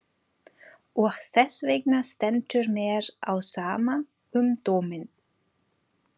Og þessvegna stendur mér á sama um dóminn.